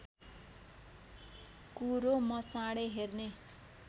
कुरो म चाँडै हेर्ने